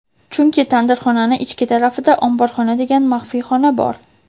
Chunki tandirxonani ichki tarafida "omborxona" degan maxfiy xona bor.